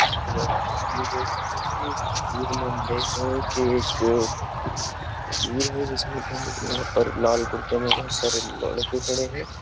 ये हम तस्वीर देख रहे है इस तस्वीर में हम देख रहा हूँ की एक फॅमिली है जिसमे के हम यहाँ पर लाल कुर्ते में बहुत सारे लड़के खड़े है।